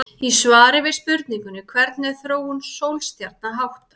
Í svari við spurningunni Hvernig er þróun sólstjarna háttað?